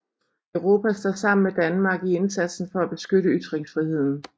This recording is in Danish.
Europa står sammen med Danmark i indsatsen for at beskytte ytringsfriheden